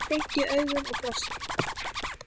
Beint í augun og brosti.